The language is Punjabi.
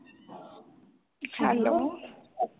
ਹੈਲੋ